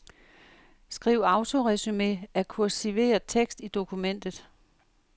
Skriv autoresumé af kursiveret tekst i dokumentet.